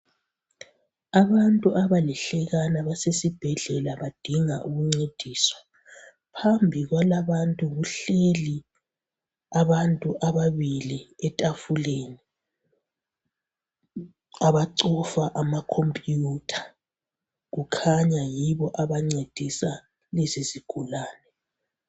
abantu abalihlekana basesibhedlela badinga ukuncediswa phambi kwala abantu kuhleli abantu ababili e tafuleni abacofa ama computer kukhanya yibo abancedisa lezi zigulane